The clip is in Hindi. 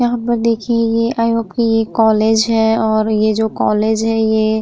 यहाँ पर देखिये ये एक कॉलेज है। ये जो कॉलेज है ये --